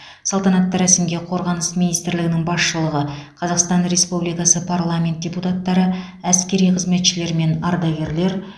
салтанатты рәсімге қорғаныс министрлігінің басшылығы қазақстан республикасы парламент депутаттары әскери қызметшілер мен ардагерлер